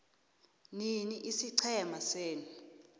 nini isiqhema senu